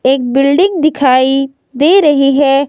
एक बिल्डिंग दिखाई दे रही है।